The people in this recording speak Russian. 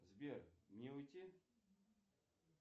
сбер мне уйти